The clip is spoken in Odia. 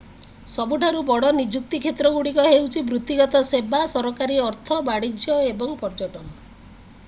ସବୁଠାରୁ ବଡ଼ ନିଯୁକ୍ତି କ୍ଷେତ୍ରଗୁଡ଼ିକ ହେଉଛି ବୃତ୍ତିଗତ ସେବା ସରକାରୀ ଅର୍ଥ ବାଣିଜ୍ୟ ଏବଂ ପର୍ଯ୍ୟଟନ